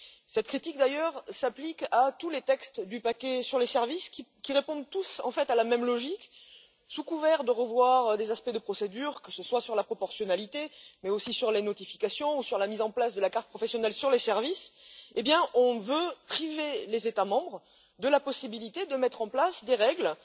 Cette critique, d'ailleurs, s'applique à tous les textes du paquet sur les services, qui répondent tous, en fait, à la même logique sous couvert de revoir des aspects de procédure, que ce soit sur la proportionnalité, mais aussi sur les notifications ou sur la mise en place de la carte professionnelle pour les services, on veut priver les États membres de la possibilité de mettre en place des règles